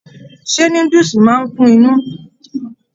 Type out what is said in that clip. ṣé núdúsí máa n kún inú?